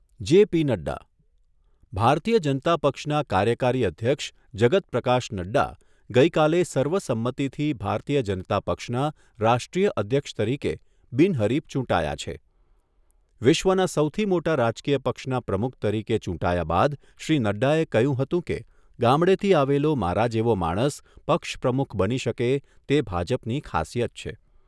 JP Nadda ભારતીય જનતા પક્ષના કાર્યકારી અધ્યક્ષ જગત પ્રકાશ નડ્ડા ગઈકાલે સર્વસંમતિથી ભારતીય જનતા પક્ષના રાષ્ટ્રીય અધ્યક્ષ તરીકે બિનહરીફ ચૂંટાયા છે. વિશ્વના સૌથી મોટા રાજકીય પક્ષના પ્રમુખ તરીકે ચૂંટાયા બાદ શ્રી નડ્ડાએ કહ્યું હતું કે, ગામડેથી આવેલો મારા જેવો માણસ પક્ષ પ્રમુખ બની શકે તે ભાજપની ખાસિયત છે.